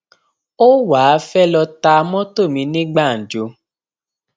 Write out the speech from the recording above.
ó wàá fẹẹ lọọ ta mọtò mi ní gbàǹjo